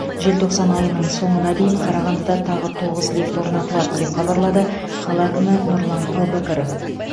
желтоқсан айының соңына дейін қарағандыда тағы тоғыз лифт орнатылады деп хабарлады қала әкімі нұрлан әубәкіров